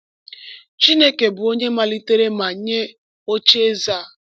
Chineke bụ onye malitere ma nye ocheeze a.